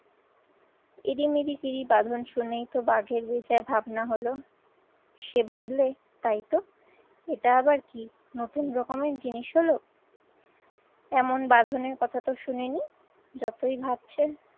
ইরি মিরিকিরি বাঁধন শুনেই তো বাঘের বেজায় ভাবনা হলো, সে ভাবলে তাইতো এটা আবার কি নতুন রকমের জিনিস হল? এমন বাঁধনের কথা তো শুনিনি। যতই ভাবছে